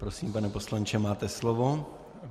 Prosím, pane poslanče, máte slovo.